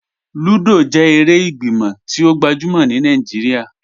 Lúdọ́ jẹ èrè ìgbímọ̀ tí o gbajúmọ̀ ní Naijíríà.